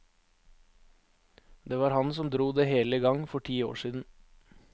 Det var han som dro det hele i gang for ti år siden.